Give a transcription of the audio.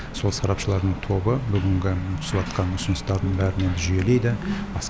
сол сарапшылардың тобы бүгінгі түсіватқан ұсыныстардың бәрін жүйелейді